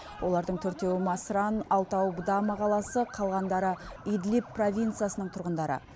олардың төртеуі масран алтауы бдама қаласы қалғандары идлип провинциясының тұрғындары